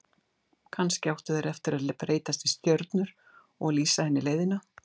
Kannski áttu þeir eftir að breytast í stjörnur og lýsa henni leiðina.